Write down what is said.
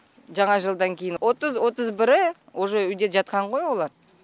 жаңа жылдан кейін отыз отыз бірі уже үйде жатқан ғой олар